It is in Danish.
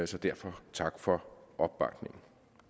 så derfor tak for opbakningen